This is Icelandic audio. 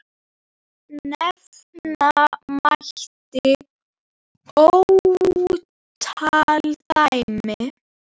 Nefna mætti ótal dæmi.